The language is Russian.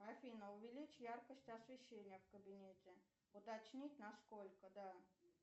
афина увеличь яркость освещения в кабинете уточнить на сколько да